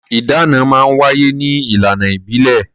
Ìdáná máa ń wáyé ní ìlànà ìbílẹ̀.